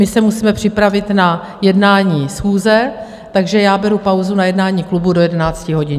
My se musíme připravit na jednání schůze, takže já beru pauzu na jednání klubu do 11 hodin.